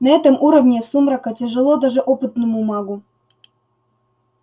на этом уровне сумрака тяжело даже опытному магу